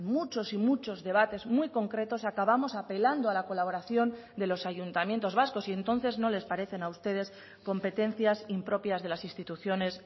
muchos y muchos debates muy concretos acabamos apelando a la colaboración de los ayuntamientos vascos y entonces no les parecen a ustedes competencias impropias de las instituciones